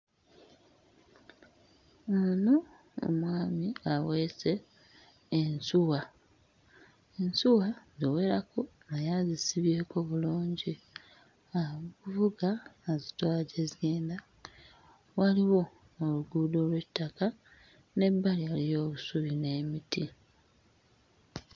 Ono mwami aweese ensuwa, ensuwa ziwerako naye azisibyeko bulungi akuvuga azitwala gye zigenda. Waliwo n'oluguudo olw'ettaka wabbali waliyo obusubi n'emiti.